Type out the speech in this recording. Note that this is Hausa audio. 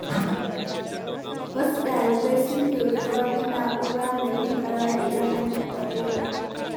Wasu ɗalibai su ƙirƙiri wata na'ura mai yin ƙara idan an taɓa ƙofa.